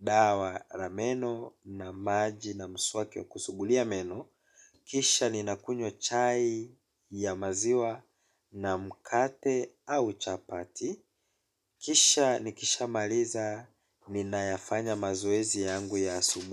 dawa la meno na maji na mswaki wa kusugulia meno. Kisha ninakunywa chai ya maziwa na mkate au chapati. Kisha ni kishaa maliza ninayafanya mazoezi yangu ya asubuhi.